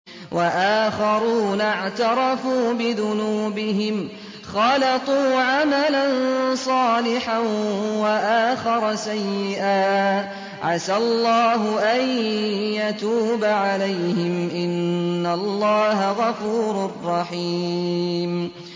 وَآخَرُونَ اعْتَرَفُوا بِذُنُوبِهِمْ خَلَطُوا عَمَلًا صَالِحًا وَآخَرَ سَيِّئًا عَسَى اللَّهُ أَن يَتُوبَ عَلَيْهِمْ ۚ إِنَّ اللَّهَ غَفُورٌ رَّحِيمٌ